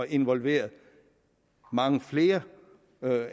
involveret mange flere